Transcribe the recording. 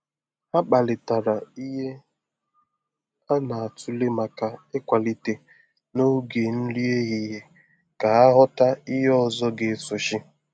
Ha kparịtara ihe a na-atụle maka ịkwalite n’oge nri ehihie ka ha ghọta ihe ọzọ ga-esochi.